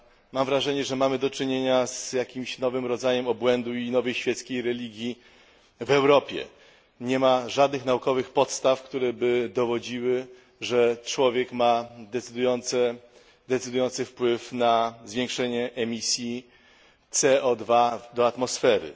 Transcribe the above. Mam wrażenie, że mamy do czynienia z jakimś nowym rodzajem obłędu i nowej, świeckiej religii w Europie. Nie ma żadnych naukowych podstaw, które by dowodziły, że człowiek ma decydujący wpływ na zwiększenie emisji CO do atmosfery.